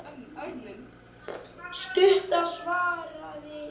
Stutta svarið er já!